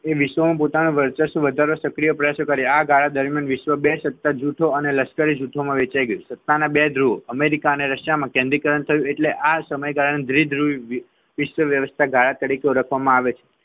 વિશ્વમાં પોતાનું વર્ચસ્વ વધારવા સક્રિય પ્રયાસો કર્યા આ ગાળામાં દરમિયાન વિશ્વ બે સત્તા જૂથો અને લશ્કરી જૂથમાં વેચાઈ ગયું સત્તાના બે ધ્રુવો અમેરિકા અને રશિયામાં કેન્દ્રીયકરણ થયું એટલે આ સમયગાળાને દ્ધિધ્રુવીય ઈસ્ટ વ્યવસ્થા ગાળા તરીકે ઓળખવામાં આવે છે